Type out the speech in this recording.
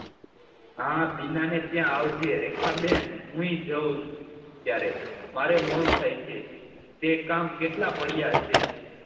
હા બીના ને ત્યાં આવજે રેખા બેન હું એ જાઉં ત્યારે મારે મોડું થાય છે કે કામ કેટલા પડ્યા છે